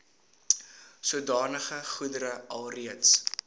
sodanige goedere alreeds